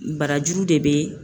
Barajuru de bɛ